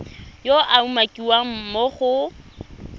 yo a umakiwang mo go